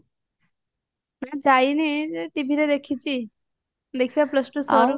ଯାଇନି TV ରେ ଦେଖିଚି ଦେଖିବା plus two ସରୁ